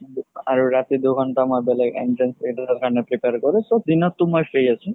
আৰু ৰাতি দুঘন্তা মই বেলেগ entrance কাৰণে prepare কৰো so দিনত তো মই free আছো